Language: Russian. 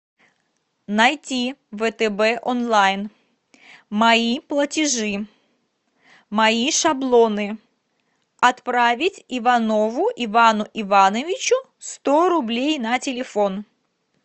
найти втб онлайн мои платежи мои шаблоны отправить иванову ивану ивановичу сто рублей на телефон